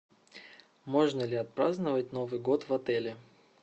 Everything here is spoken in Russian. можно ли отпраздновать новый год в отеле